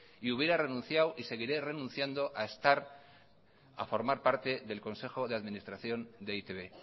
y hubiera renunciado y seguiré renunciando a estar a formar parte del consejo de administración de e i te be